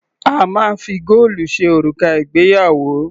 A máa ń fi góòlù ṣe òrùka ìgbéyàwó.